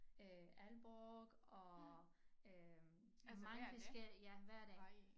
Øh Aalborg og øh mange forskellige ja hver dag